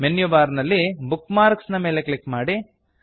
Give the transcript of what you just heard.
menu bar ನಲ್ಲಿ bookmarks bookmarks ನೆ ಮೇಲೆ ಕ್ಲಿಕ್ ಮಾಡಿ